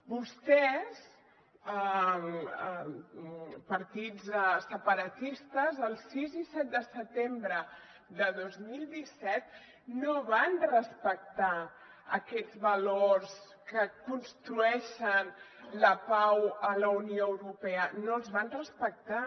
vostès partits separatistes el sis i set de setembre de dos mil disset no van respectar aquests valors que construeixen la pau a la unió europea no els van respectar